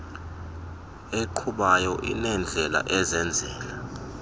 eqhubayo inendlela ezenzela